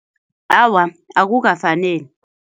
Awa, akukafaneli.